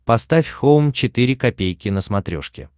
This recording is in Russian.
поставь хоум четыре ка на смотрешке